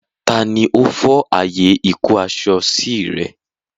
Tani ó fọ́ ààyè ìkó-aṣọ sí rẹ?